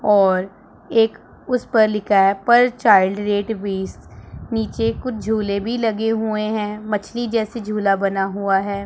और एक उस पर लिखा है पर चाइल्ड रेट बीस नीचे कुछ झूले भी लगे हुए हैं मछली जैसी झूला बना हुआ हैं।